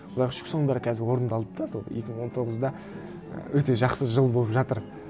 құдайға шүкір соның бәрі қазір орындалды да сол екі мың он тоғыз да өте жақсы жыл болып жатыр